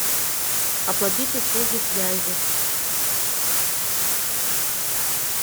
оплатить услуги связи